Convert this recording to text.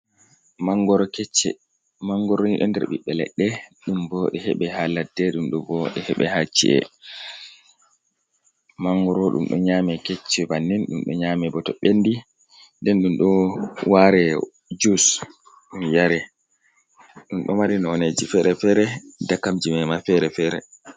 Mangoro kecce. mangorni ɗo nder ɓiɓɓe ledde, ɗum bo ɗo hebe ha ladde ɗumɗo bo ɗe hebe haci’e. mangoro ɗum ɗo nyame kecce bannin, ɗum ɗo nyame bo to ɓendi nden ndum do waɗe jus ɗum yare, ɗum ɗo mari noneji fere-fere dakamji mema fere-fere.